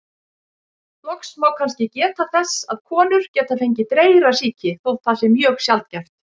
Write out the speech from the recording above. Loks má kannski geta þess að konur geta fengið dreyrasýki, þótt það sé mjög sjaldgæft.